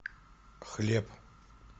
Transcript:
хлеб